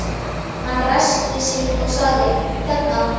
Hann ræskti sig og sagði: Hérna